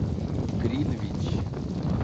гринвич